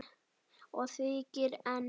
Og þykir enn.